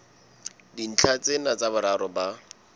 dintlha tsena ka boraro ba